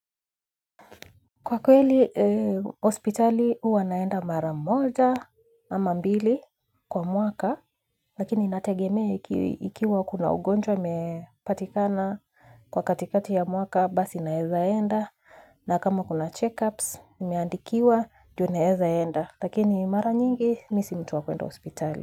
Kwa kweli hospitali huwa naenda mara moja ama mbili kwa mwaka lakini inategemea ikiwa kuna ugonjwa umepatikana kwa katikati ya mwaka basi naeza enda na kama kuna checkups nimeandikiwa ndio naeza enda lakini mara nyingi mimi si mtu wa kwenda hospitali.